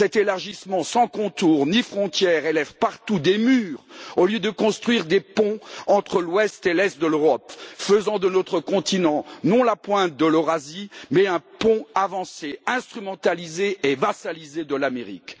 Cet élargissement sans contours ni frontières élève partout des murs au lieu de construire des ponts entre l'ouest et l'est de l'Europe, faisant de notre continent, non pas la pointe de l'Eurasie, mais un pont avancé, instrumentalisé et vassalisé de l'Amérique.